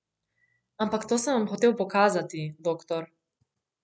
Ampak to sem vam hotel pokazati, doktor.